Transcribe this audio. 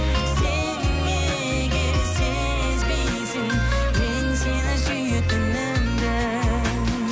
сен неге сезбейсің мен сені сүйетінімді